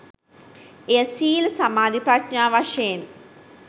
එය සීල සමාධි ප්‍රඥා වශයෙන්